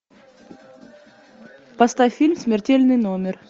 поставь фильм смертельный номер